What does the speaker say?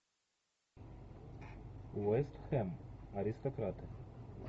вест хэм аристократы